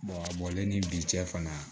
a bɔlen ni bi cɛ fana